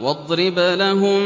وَاضْرِبْ لَهُم